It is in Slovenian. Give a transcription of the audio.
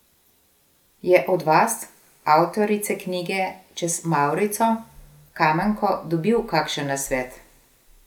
Je od vas, avtorice knjige Čez mavrico, Kamenko dobil kakšen nasvet?